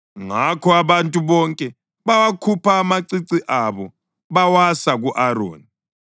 Ngakho abantu bonke bawakhupha amacici abo bawasa ku-Aroni.